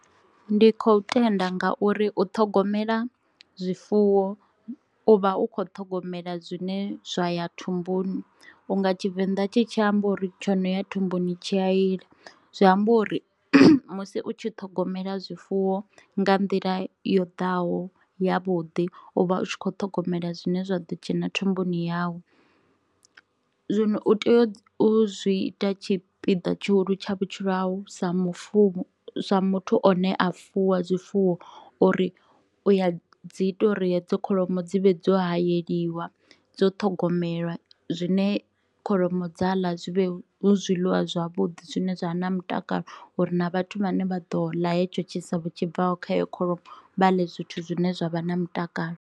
Ndi khou tenda nga uri u ṱhogomela zwifuwo u vha u kho ṱhogomela zwine zwa ya thumbuni, unga tshivenḓa tshi tshi amba uri tshi no ya thumbuni tshi a ila. Zwi amba uri musi u tshi ṱhogomela zwifuwo nga nḓila yo ḓaho ya vhuḓi u vha u tshi kho ṱhogomela zwine zwa ḓo dzhena thumbuni yau, zwino u tea u zwi ita tshipiḓa tshihulu tsha vhutshilo hau sa mufu sa muthu a ne a fuwa zwifuwo uri u ya dzi ita uri hedzo kholomo dzi vhe dzo hayeliwa, dzo ṱhogomelwa zwine kholomo dza ḽa zwi vhe hu zwiḽiwa zwavhuḓi zwine zwa vha na mutakalo uri na vhathu vhane vha ḓo ḽa hetsho tshisevho tshi bvaho kha heyo kholomo vha ḽe zwithu zwine zwa vha na mutakalo.